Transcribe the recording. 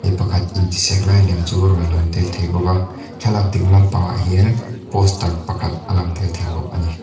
pakhat intisek lai lem chu a rawn lang tel thei bawk a thlalak a ding lampangah hian poster pakhat a lang tel thei bawk a ni.